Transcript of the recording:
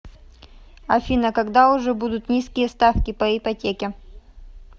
афина когда уже будут низкие ставки по ипотеке